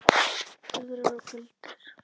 Töfrar og galdur.